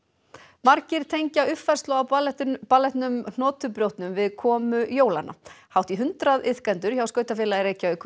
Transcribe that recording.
margir tengja uppfærslu á ballettinum Hnotubrjótnum við komu jólanna hátt í hundrað iðkendur hjá skautafélagi Reykjavíkur